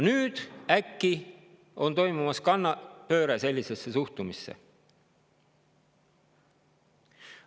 Nüüd äkitselt on toimumas kannapööre sellises suhtumises.